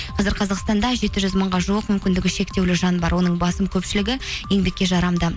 қазір қазақстанда жеті жүз мыңға жуық мүмкіндігі шектеулі жан бар оның басым көпшілігі еңбекке жарамды